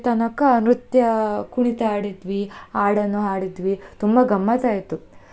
ತನಕ ನೃತ್ಯ ಕುಣಿತ ಆಡಿದ್ವಿ, ಹಾಡನ್ನು ಹಾಡಿದ್ವಿ ತುಂಬಾ ಗಮ್ಮತ್ತ್ ಆಯ್ತು.